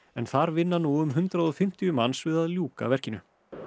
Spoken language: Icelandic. en þar vinna nú um hundrað og fimmtíu manns við að ljúka verkinu